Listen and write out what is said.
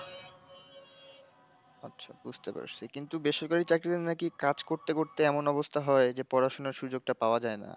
আচ্ছা বুঝতে পারছি, কিন্তু বেসরকারি চাকরিতে নাকি কাজ করতে করতে এমন অবস্থা হয় যে পড়াশোনার সুযোগটা পাওয়া যায় না।